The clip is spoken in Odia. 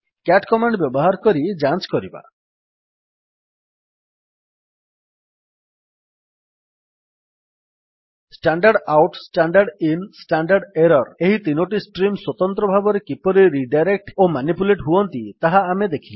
ସିଏଟି କମାଣ୍ଡ୍ ବ୍ୟବହାର କରି ଯାଞ୍ଚ୍ କରିବା standard out standard in standard error ଏହି ତିନୋଟି ଷ୍ଟ୍ରିମ୍ ସ୍ୱତନ୍ତ୍ର ଭାବରେ କିପରି ରିଡାଇରେକ୍ଟ୍ ଓ ମାନିପୁଲେଟ୍ ହୁଅନ୍ତି ତାହା ଆମେ ଦେଖିଲେ